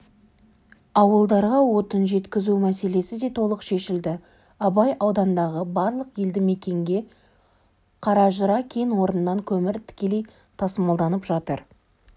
ауылдарға отын жеткізу мәселесі де толық шешілді абай аудандағы барлық елді мекенге қаражыра кен орнынан көмір тікелей тасымалданып жатыр